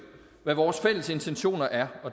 hvad vores fælles intentioner er